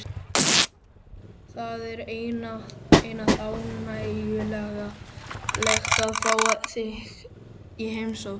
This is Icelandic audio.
Það er einatt ánægjulegt að fá þig í heimsókn.